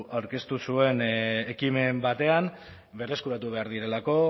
aurkeztu zuen ekimen batean berreskuratu behar direlako